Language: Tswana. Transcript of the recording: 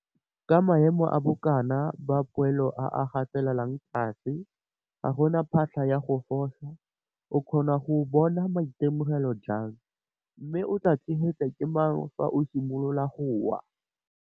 Ka maemo a bokana ba poelo a a gatelelwang tlase, ga go na phatlha ya go fosa. O kgona go bona matemogelo jang, mme o tlaa tshegetswa ke mang fa o simolola go wa?